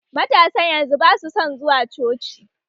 Matasan yanzu basu son zuwa coci